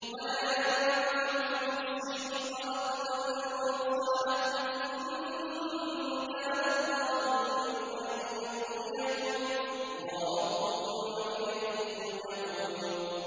وَلَا يَنفَعُكُمْ نُصْحِي إِنْ أَرَدتُّ أَنْ أَنصَحَ لَكُمْ إِن كَانَ اللَّهُ يُرِيدُ أَن يُغْوِيَكُمْ ۚ هُوَ رَبُّكُمْ وَإِلَيْهِ تُرْجَعُونَ